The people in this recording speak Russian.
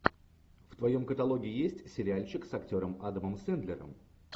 в твоем каталоге есть сериальчик с актером адамом сэндлером